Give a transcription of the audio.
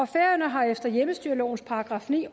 færøerne har efter hjemmestyrelovens § ni